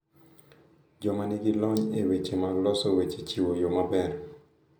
Joma nigi lony e weche mag loso weche chiwo yo maber